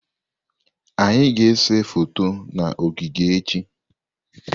Anyị ga-ese foto na ogige echi.